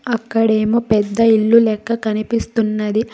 అక్కడేమో పెద్ద ఇల్లు లెక్క కనిపిస్తున్నది.